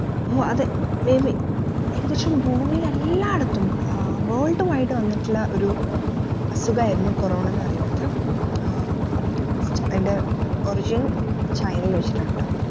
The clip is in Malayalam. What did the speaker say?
ഓ അതെ ഏകദേശം ഭൂമിലെല്ലാടത്തും ആഹ് world wide വന്നിട്ടുള്ള ഒരു അസുഖയർന്നു corona എന്നുപറയുന്നത് ഏർ അയിൻറെ origin ചൈനയിൽ വെച്ചാണട്ടോ